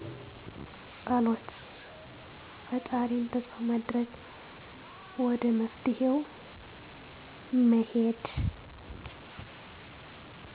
ፀሎት ፈጣሪን ተስፋ ማድረግ ወደ መፍትሔ መሄድ